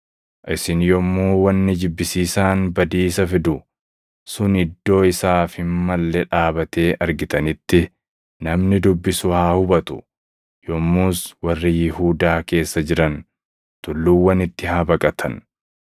“ ‘Isin yommuu wanni jibbisiisaan badiisa fidu’ + 13:14 \+xt Dan 9:27; 11:31; 12:11\+xt* sun iddoo isaaf hin malle dhaabatee argitanitti, namni dubbisu haa hubatu; yommus warri Yihuudaa keessa jiran tulluuwwanitti haa baqatan.